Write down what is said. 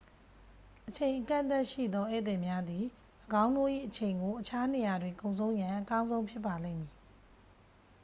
အချိန် အကန့်အသတ်ရှိသော ဧည့်သည်များသည် ၎င်းတို့၏အချိန်ကို အခြားနေရာတွင် ကုန်ဆုံးရန် အကောင်းဆုံးဖြစ်ပါလိမ့်မည်